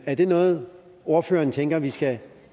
er det noget ordføreren tænker vi skal